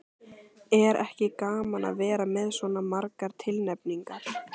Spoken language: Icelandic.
Er ekki gaman að vera með svona margar tilnefningar?